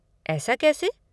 ऐसा कैसे?